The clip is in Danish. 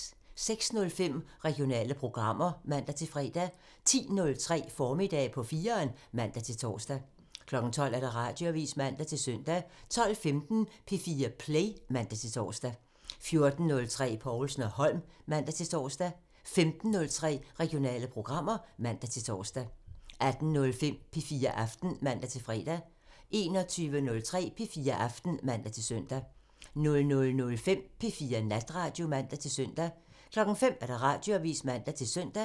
06:05: Regionale programmer (man-fre) 10:03: Formiddag på 4'eren (man-tor) 12:00: Radioavisen (man-søn) 12:15: P4 Play (man-tor) 14:03: Povlsen & Holm (man-tor) 15:03: Regionale programmer (man-tor) 18:05: P4 Aften (man-fre) 21:03: P4 Aften (man-søn) 00:05: P4 Natradio (man-søn) 05:00: Radioavisen (man-søn)